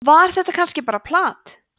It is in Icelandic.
var þetta kannski bara plat